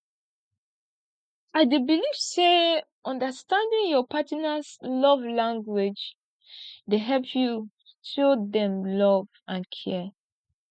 i dey believe say understanding your partners love language dey help you show dem love and care